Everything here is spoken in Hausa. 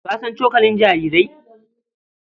Ka san cokali jarirai?